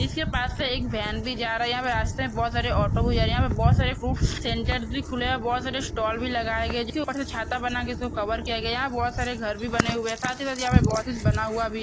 इसके पास से एक वैन भी जा रहा है। यहाँ पे बहुत सारे ऑटो भी जा रहे हैं। यहाँ बहुत सारे फ्रूट्स सेंटर भी खुले है। बहुत सारे स्टॉल भी लगाए गए है। इसके ऊपर से छाता बना के इसक कवर किया गया है। यहां बहुत सारे घर भी बने हुए हैं। साथ ही साथ यहां बहुत कुछ बना हुआ भी--